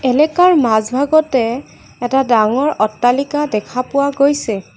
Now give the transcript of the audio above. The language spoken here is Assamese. লিকাৰ মাজভাগতে এটা ডাঙৰ অট্টালিকা দেখা পোৱা গৈছে।